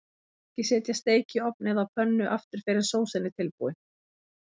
Ekki setja steik í ofn eða á pönnu aftur fyrr en sósan er tilbúin.